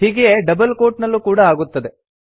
ಹೀಗೆಯೇ double quote ನಲ್ಲೂ ಕೂಡಾ ಆಗುತ್ತದೆ